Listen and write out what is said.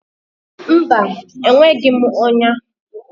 Mba, enweghị m ọnya.